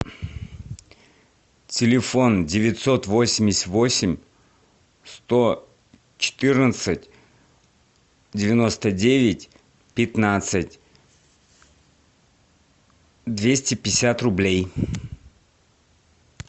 телефон девятьсот восемьдесят восемь сто четырнадцать девяносто девять пятнадцать двести пятьдесят рублей